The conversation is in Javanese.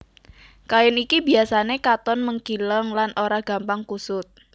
Kain iki biasané katon mengkileng lan ora gampang kusut